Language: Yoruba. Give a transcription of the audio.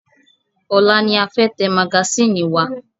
Ọ̀la ni a fẹ́ tẹ magasínì wa.